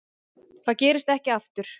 Það gerist ekki aftur.